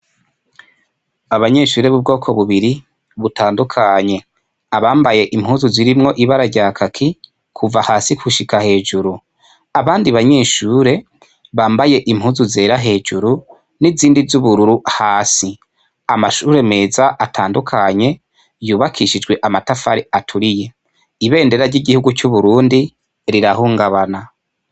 Abanyeshure b'ubwoko bubiri butandukanye abambaye impuzu zirimwo ibararya kaki kuva hasi kushika hejuru abandi banyeshure bambaye impuzu zera hejuru n'izindi z'ubururu hasi amashure meza atandukanye yubakishijwe amatafare aturiye ibendera ry'igihugu c'uburundi rirahungabana.